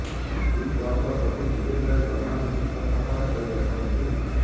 big ବସ୍ର ପ୍ରତି ସିଜିନ୍ରେ ସଲମାନ୍ ହିଁ ଉପସ୍ଥାପନା କରିଆସୁଛନ୍ତି